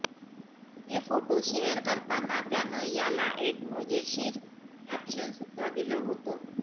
हे photo share करताना त्यानं याला एक मजेशीर कॅप्शन सुद्धा दिलं होतं